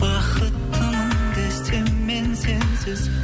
бақыттымын десем мен сенсіз